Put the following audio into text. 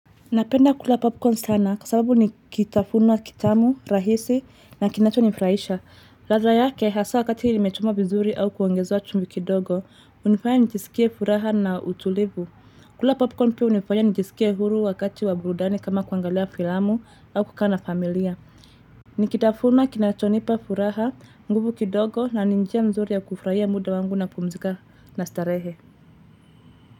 Napenda kula popcorn sana kwasababu ni kitafunwa kitamu, rahisi na kinachonifurahisha. Ladha yake hasa wakati imechomwa vizuri au kuongezewa chumvi kidogo, hunifanya nijisikie furaha na utulivu. Kula popcorn pia hunifanya nijisikie huru wakati wa burudani kula popcorn pia unifanya nijisikia huru wakati waburudani kama kuangalea filamu au kukana familia.